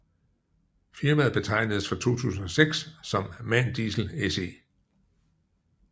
Firmaet betegnedes fra 2006 som MAN Diesel SE